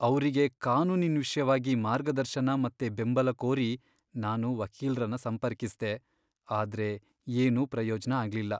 ಅವ್ರಿಗೆ ಕಾನೂನಿನ್ ವಿಷ್ಯವಾಗಿ ಮಾರ್ಗದರ್ಶನ ಮತ್ತೆ ಬೆಂಬಲ ಕೋರಿ ನಾನು ವಕೀಲ್ರನ್ನ ಸಂಪರ್ಕಿಸ್ದೆ, ಆದ್ರೆ ಏನೂ ಪ್ರಯೋಜ್ನ ಆಗ್ಲಿಲ್ಲ!